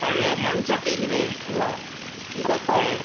പഴയ മൺ ചട്ടിയിൽ വേവിക്കുക. ഇതൊക്കെ